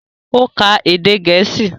Ó ka èdè Gẹ̀ẹ́sì